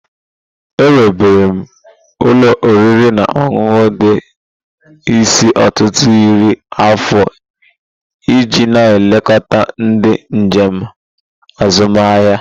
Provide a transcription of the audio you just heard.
Ewubere ụlọ oriri na ọṅụṅụ ndị isi ọtụtụ iri afọ iji na-elekọta ndị njem azụmahịa.